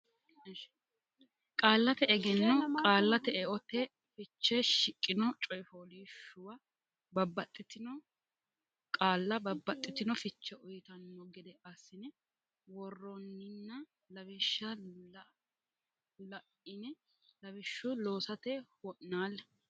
Qaallate Egenno Qaallate Eote Fiche shiqqino coy fooliishshuwa babbaxxitino qaalla babbaxxitino fiche uytanno gede assine worronnina lawishsha la ine lawishshu loosate wo naalle.